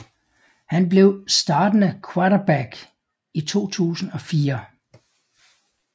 Han blev startende quaterback i 2004